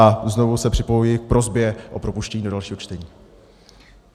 A znovu se připojuji k prosbě o propuštění do dalšího čtení.